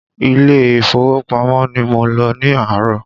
Ilé ìfowópamọ́ ni mo lọ ní àárọ̀